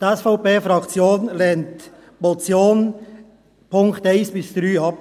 Die SVP-Fraktion lehnt die Motion in den Punkten 1–3 ab.